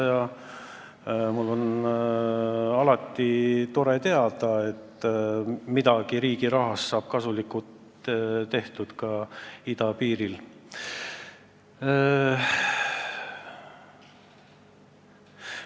Ja alati on tore teada, kui riigi rahaga saab ka idapiiril midagi kasulikku tehtud.